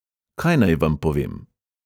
Kaj naj vam povem?